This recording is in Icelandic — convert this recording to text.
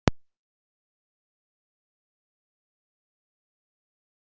Karen Kjartansdóttir: Rukkið þið meira heldur en aðrar stöðvar?